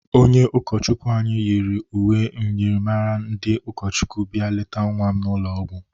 Onye ụkọchukwi anyị nyịrị uwe myịrịmara ndị ụkọchikwu bia lete nwa m n'ụlọ ọgwọ.